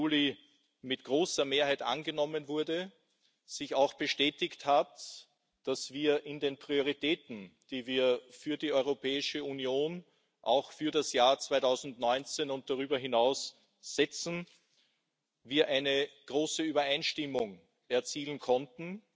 5. Juli mit großer Mehrheit angenommen wurde, bestätigt hat, dass wir in den Prioritäten, die wir für die Europäische Union für das Jahr 2019 und darüber hinaus setzen, eine große Übereinstimmung erzielen konnten.